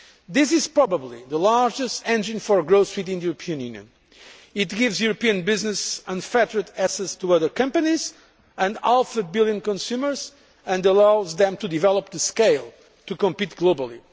This is probably the largest engine for growth in the European Union. It gives European business unfettered access to other companies and half a billion consumers and allows them to develop the scale to compete globally.